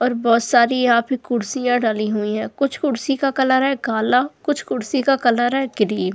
और बहुत सारी आपकी कुर्सियां डली हुई है कुछ कुर्सी का कलर है काला कुछ कुर्सी का कलर है क्रीम ।